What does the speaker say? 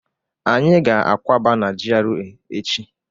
Anyị ga akwaba n'GRA echi